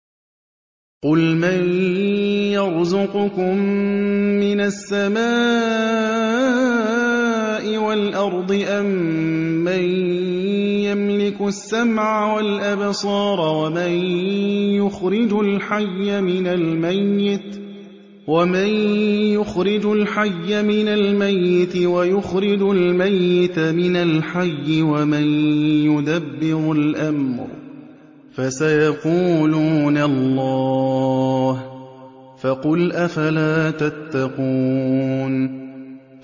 قُلْ مَن يَرْزُقُكُم مِّنَ السَّمَاءِ وَالْأَرْضِ أَمَّن يَمْلِكُ السَّمْعَ وَالْأَبْصَارَ وَمَن يُخْرِجُ الْحَيَّ مِنَ الْمَيِّتِ وَيُخْرِجُ الْمَيِّتَ مِنَ الْحَيِّ وَمَن يُدَبِّرُ الْأَمْرَ ۚ فَسَيَقُولُونَ اللَّهُ ۚ فَقُلْ أَفَلَا تَتَّقُونَ